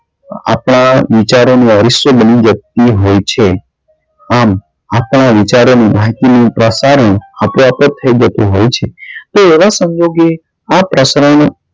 આપડા વિચારો નો અરીસો બની જતી હોય છે આમ આપડા વિચારો ની માહિતી થઇ જતી હોય છે તે એવા સંજોગે આ પ્રસારણ